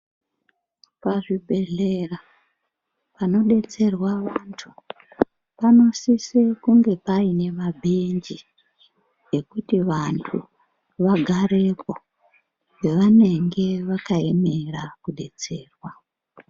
Pazvibhedhlera panodetserwa vantu panosise kunge paine mabhenji ekuti vantu vagarepo pavanenge vakaemera kudetserwa.